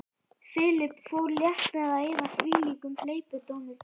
Philip fór létt með að eyða þvílíkum hleypidómum.